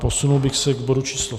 Posunul bych se k bodu číslo